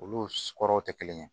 Olu kɔrɔw tɛ kelen ye